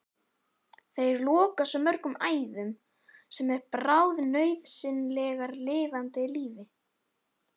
Þeir loka svo mörgum æðum sem eru bráðnauðsynlegar lifandi lífi.